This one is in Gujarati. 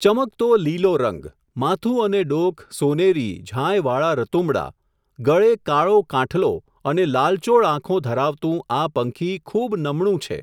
ચમકતો લીલો રંગ, માથું અને ડોક સોનેરી ઝાંયવાળા રતુંબડા, ગળે કાળો કાંઠલો અને લાલચોળ આંખો ધરાવતું આ પંખી ખૂબ નમણું છે.